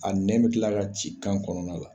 A nɛ bɛ kila ka ci kan kɔnɔna la.